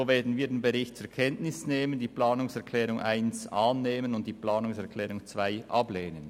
So werden wir den Bericht zur Kenntnis nehmen, die Planungserklärung 1 annehmen und die Planungserklärung 2 ablehnen.